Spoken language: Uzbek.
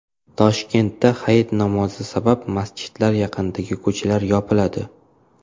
Toshkentda hayit namozi sabab masjidlar yaqinidagi ko‘chalar yopiladi.